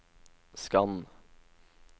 skann